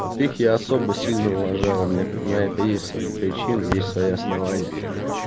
вот их я особо сильно уважаю у меня на это есть свои причины есть свои основания